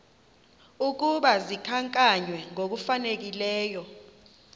ukuba zikhankanywe ngokufanelekileyo